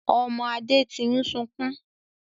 Ọmọ Adé tí ń sunkún